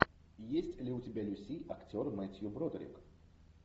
есть ли у тебя люси актер мэттью бродерик